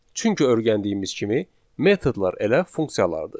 Çünki öyrəndiyimiz kimi metodlar elə funksiyalardır.